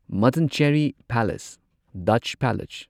Mattancherry palace Dutch palace